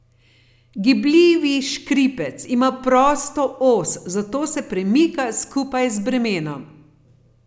Gibljivi škripec ima prosto os, zato se premika skupaj z bremenom.